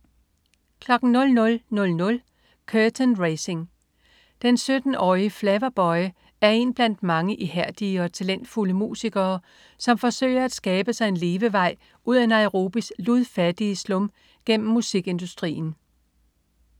00.00 Curtain Raising. Den 17-årige Flavaboy er en blandt mange ihærdige og talentfulde musikere, som forsøger at skabe sig en levevej ud af Nairobis ludfattige slum gennem musikindustrien